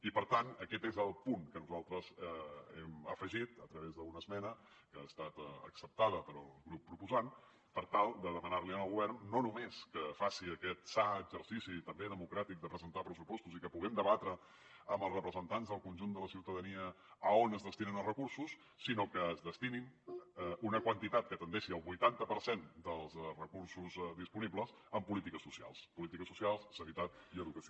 i per tant aquest és el punt que nosaltres hem afegit a través d’una esmena que ha estat acceptada pel grup proposant per tal de demanar li al govern no només que faci aquest sa exercici també democràtic de presentar pressupostos i que puguem debatre amb els representants del conjunt de la ciutadania a on es destinen els recursos sinó que es destini una quantitat que tendeixi al vuitanta per cent dels recursos disponibles a polítiques socials polítiques socials sanitat i educació